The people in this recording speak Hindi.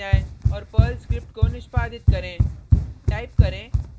फिर टर्मिनल पर जाएँ और पर्ल स्क्रिप्ट को निष्पादित करें